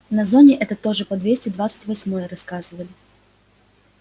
на зоне это тоже по двести двадцать восьмой рассказывали